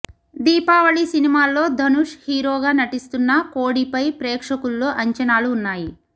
దీపావళి సినిమాల్లో ధనుష్ హీరోగా నటిస్తున్న కోడి పై ప్రేక్షకుల్లో అంచనాలు ఉన్నాయి